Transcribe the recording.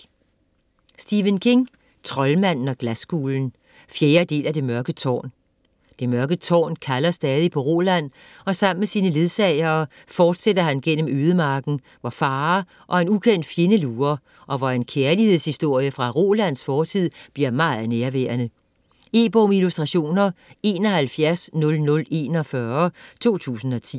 King, Stephen: Troldmanden og glaskuglen 4. del af Det mørke tårn. Det Mørke Tårn kalder stadig på Roland, og sammen med sine ledsagere fortsætter han gennem ødemarken, hvor farer og en ukendt fjende lurer, og hvor en kærlighedshistorie fra Rolands fortid bliver meget nærværende. E-bog med illustrationer 710041 2010.